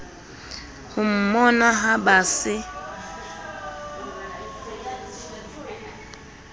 ho mmona ha ba se